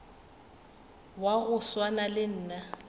wa go swana le nna